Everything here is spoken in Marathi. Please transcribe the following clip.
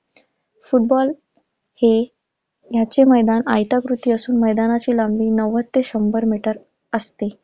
फुटबॉल हे, ह्याचे मैदान आयताकृती असून मैदानाची लांबी नव्वद ते शंभर मीटर असते.